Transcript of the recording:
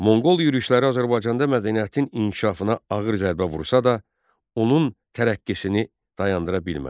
Monqol yürüşləri Azərbaycanda mədəniyyətin inkişafına ağır zərbə vursa da, onun tərəqqisini dayandıra bilmədi.